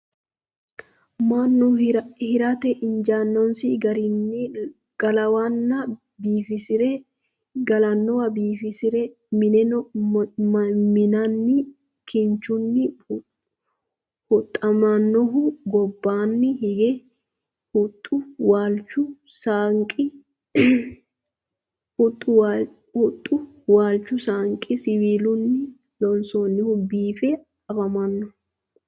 Mannu heeratte injjannosi garinni galanowa biiffisire mi'ninno minni nna kinchchunni huxxamohu gobbanni hige huxxu, waalichu saanqi siwiillunni loonsoonnihu biiffe afammanno